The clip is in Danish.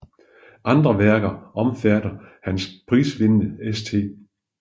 Andre værker omfatter hans prisvindende St